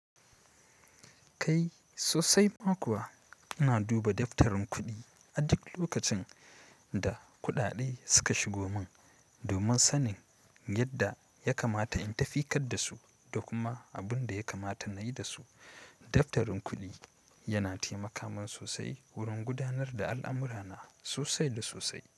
Kai sosai ma kuwa ina duba daftarin kuɗi a duk lokacin da kuɗaɗe suka shigo mun. Domin sanin yadda ya kamata in tafi kar dasu da kuma abinda ya kamata nayi dasu. Daftarin kuɗi yana taimaka min sosai wurin gudanar da al'amurana sosai da sosai.